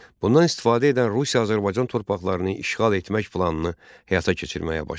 Bundan istifadə edən Rusiya Azərbaycan torpaqlarını işğal etmək planını həyata keçirməyə başladı.